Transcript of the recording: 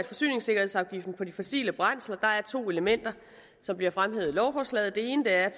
forsyningssikkerhedsafgift på de fossile brændsler der er to elementer som bliver fremhævet i lovforslaget det ene er